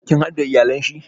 Kin hadu da iyalan shi?